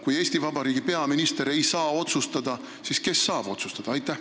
Kui Eesti Vabariigi peaminister ei saa otsustada, siis kes saab otsustada?